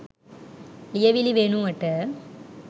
ලියවිලි වෙනුවට